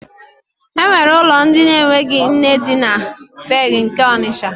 E nwere ụlọ ndị na-enweghị nne dị na Fegge nke Ọnisha.